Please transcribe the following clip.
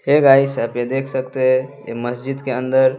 हे guys आप ये देख सकते हैं ए मस्जिद के अंदर--